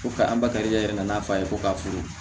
Ko ka an bakarijan yɛrɛ nana fa ye ko ka foro